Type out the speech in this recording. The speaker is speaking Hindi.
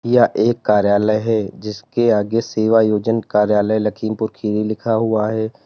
यह एक कार्यालय है जिसके आगे सेवायोजन कार्यालय लखीमपुर खीरी लिखा हुआ है।